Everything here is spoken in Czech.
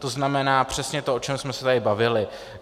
To znamená přesně to, o čem jsme se tady bavili.